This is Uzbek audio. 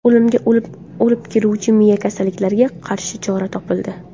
O‘limga olib keluvchi miya kasalliklariga qarshi chora topildi.